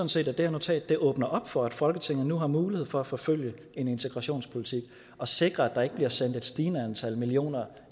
set at det her notat åbner op for at folketinget nu har mulighed for at forfølge en integrationspolitik og sikre at der ikke bliver sendt et stigende antal millioner